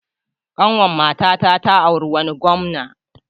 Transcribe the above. Ƙanwar matata ta auri wani gwamna.